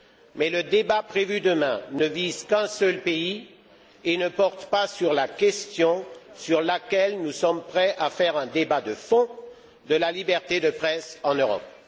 Mais le débat prévu demain ne vise qu'un seul pays et ne porte pas sur la question sur laquelle nous sommes prêts à faire un débat de fond de la liberté de presse en Europe.